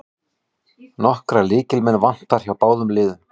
Nokkra lykilmenn vantar hjá báðum liðum